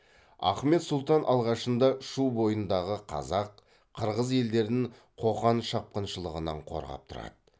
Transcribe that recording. ахмет сұлтан алғашында шу бойындағы қазақ қырғыз елдерін қоқан шапқыншылығынан қорғап тұрады